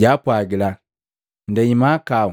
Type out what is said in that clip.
Jwaapwagila, “Ndei mahakau